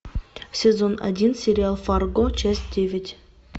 сезон один сериал фарго часть девять